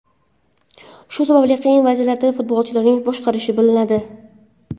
Shu sababli qiyin vaziyatlarda futbolchilarni boshqarishni biladi.